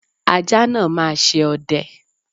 Ajá náà máa ṣe ọdẹ.